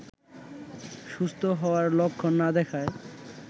সুস্থ হওয়ার লক্ষণ না দেখায়